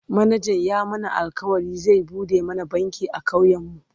manajan ya mana alkawalin zai buɗe mana banki a ƙauyen mu